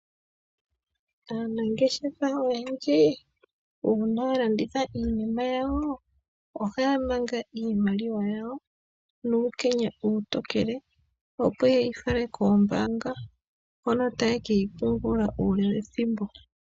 Aanangeshefa oyendji uuna yalanditha iinima yawo ohaya manga iimaliwa yawo nuukenya uutokele opo yeyi fale koombanga hono taye keyi pungula uule wethimbo.